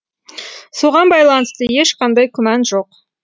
соған байланысты ешқандай күмән жоқ